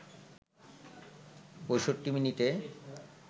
৬৫ মিনিটে